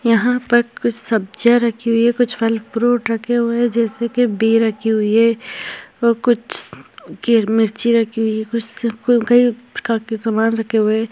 यहा पर कुछ सब्जिया रखी हुई है कुछ फल फ्रूट रखे हुए है जैसे की बी रखी हुई है और कुछ के मिर्ची रखी हुई है कुछ कई प्रकार के सामान रखे हुए है।